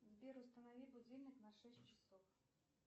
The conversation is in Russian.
сбер установи будильник на шесть часов